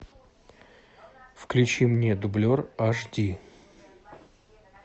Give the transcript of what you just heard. включи мне дублер аш ди